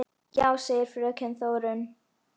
Já, segir fröken Þórunn.